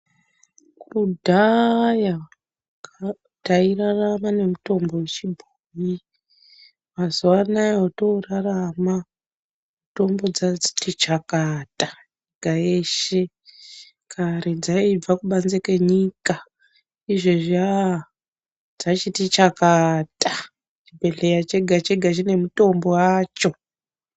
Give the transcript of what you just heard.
Kudhaya tairarama nemitombo yechibhoyi mazuwa anaya otoorarama mitombo dzachiti chakata nyika yeshe ,kare dzaibva kubanzi kwenyika izvezvi aaah dzachiti chakata chibhedhleya chegachega chinemutombo wacho.